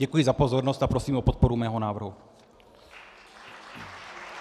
Děkuji za pozornost a prosím o podporu mého návrhu.